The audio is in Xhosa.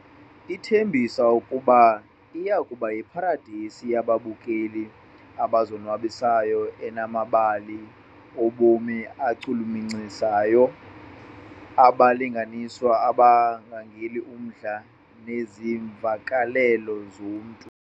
Ithembisa ukuba iya kuba yiparadesi yababukeli abazonwabisayo enamabali obomi achulumancisayo, abalinganiswa ababangel' umdla neemvakalelo zomntu.